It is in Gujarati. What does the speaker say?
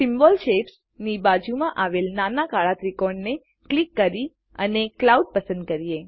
સિમ્બોલ Shapesની બાજુમાં આવેલા નાના કાળા ત્રિકોણને ક્લિક કરી અને ક્લાઉડ પસંદ કરીએ